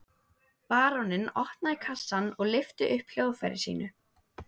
Baróninn opnaði kassann og lyfti upp hljóðfæri sínu.